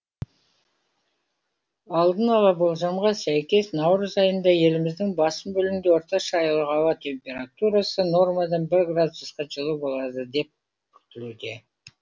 алдын ала болжамға сәйкес наурыз айында еліміздің басым бөлігінде орташа айлық ауа температурасы нормадан бір градусқа жылы болады деп күтілуде